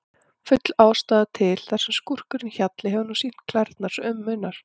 Full ástæða til, þar sem skúrkurinn Hjalli hefur nú sýnt klærnar svo um munar.